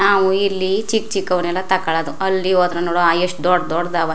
ನಾವು ಇಲ್ಲಿ ಚಿಕ್ ಚಿಕ್ಕವನ್ನೆಲ್ಲ ತಗೊಳ್ಳೋದು ಅಲ್ಲಿ ಹೋದ್ರೆ ನೋಡು ಎಷ್ಟು ದೊಡ್ ದೊಡ್ಡ್ ದವ --